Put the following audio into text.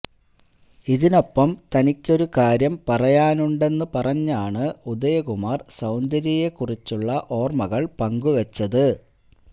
ഇതിനൊപ്പം തനിക്കൊരു കാര്യം പറയാനുണ്ടെന്ന് പറഞ്ഞാണ് ഉദയകുമാർ സൌന്ദര്യയെക്കുറിച്ചുള്ള ഓർമകൾ പങ്കുവച്ചത്